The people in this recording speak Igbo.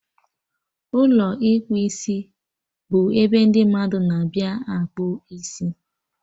Ụlọ ịkpụ isibụ ebe ndị mmadụ na-abịa akpụ isi